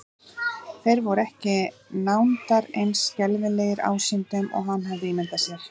Þeir voru ekki nándar eins skelfilegir ásýndum og hann hafði ímyndað sér.